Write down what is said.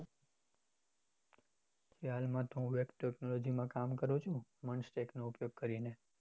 હાલ માં તો હું web technology માં કામ કરું છુ manstack નો ઉપયોગ કરીને